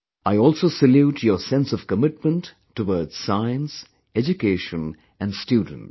I also salute your sense of commitment towards science, education and students